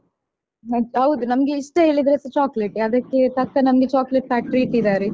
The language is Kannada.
ಎಂತ್ ಹೌದು ನಮ್ಗೆ ಇಷ್ಟ ಹೇಳಿದ್ರೇಸ chocolate ಟೇ ಅದಕ್ಕೆ ತಕ್ಕ ನಮ್ಗೆ chocolate factory ಇಟ್ಟಿದ್ದಾರೆ.